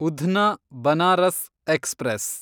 Udhna Banaras express